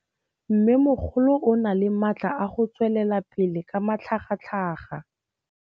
Mmêmogolo o na le matla a go tswelela pele ka matlhagatlhaga.